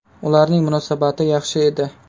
Ularning munosabati yaxshi edi.